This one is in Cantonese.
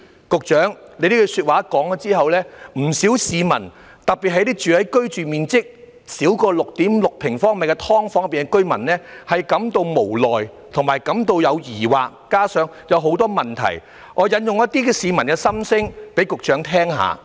局長這句話說出來後，不少市民，特別是居住面積少於 6.6 平方米的"劏房"居民，都感到無奈和疑惑，加上有很多問題......讓我引述一些市民的心聲給局長聽聽。